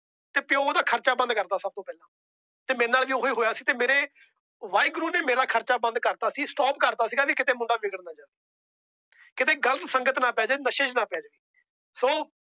ਤੇ ਉਹੰਦਾ ਖਰਚਾ ਬੰਦ ਕਰਦਾ ਸਭ ਤੋਂ ਪਹਿਲਾ। ਤੇ ਮੇਰੇ ਨਾਲ ਵੀ ਓਹੀ ਹੋਇਆ। ਤੇ ਮੇਰੇ ਵਾਹਿਗੁਰੂ ਨੇ ਮੇਰਾ ਖਰਚਾ ਬੰਦ ਕਰਤਾ ਸੀ। Stock ਕਰਤਾ ਸੀ ਵੀ ਕੀਤੇ ਮੁੰਡਾ ਵਿੱਘੜ ਨਾ ਜਾਵੇ। ਕੀਤੇ ਗ਼ਲਤ ਸੰਗਤ ਚ ਨਾ ਪੈ ਜਾਵੇ, ਨਸ਼ੇ ਚ ਨਾ ਪੈ ਜੇ। ਸੋ